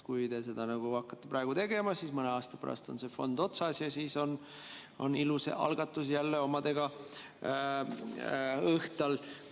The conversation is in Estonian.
Kui te hakkate seda praegu tegema, siis mõne aasta pärast on selle fondi otsas ja siis on ilus algatus jälle omadega õhtal.